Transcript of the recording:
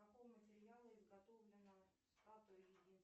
из какого материала изготовлено статуя